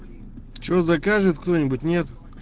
что закажет кто-нибудь нет